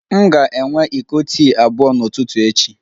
M ga-enwe iko tii abụọ n'ụtụtụ echi